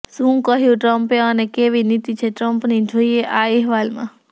શું કહ્યું ટ્રમ્પે અને કેવી નીતિ છે ટ્રમ્પની જોઈએ આ અહેવાલમાં